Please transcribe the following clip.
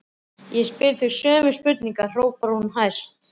Ég spyr þig sömu spurningar, hrópar hún æst.